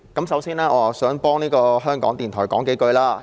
首先，我想為香港電台說幾句話。